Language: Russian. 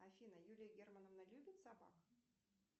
афина юлия германовна любит собак